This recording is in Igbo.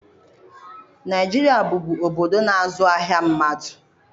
Naijiria bụbu obodo na-azụ ahịa mmadu.